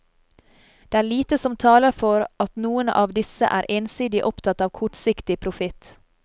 Det er lite som taler for at noen av disse er ensidig opptatt av kortsiktig profitt.